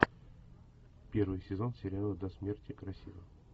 первый сезон сериала до смерти красива